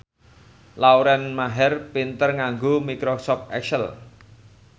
Lauren Maher pinter nganggo microsoft excel